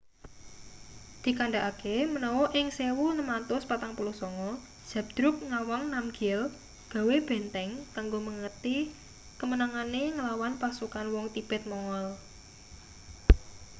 dikandhakake menawa ing 1649 zhabdrug ngawang namgyel gawe benteng kanggo mengeti kemenangane nglawan pasukan wong tibet-mongol